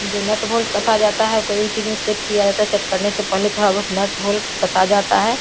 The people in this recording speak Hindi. जो नट होल्ट का कसा जाता है कोई चीज में सेट किया ट सेट करने से पहिले थोड़ा बहुत नट होल्ट कसा जाता है।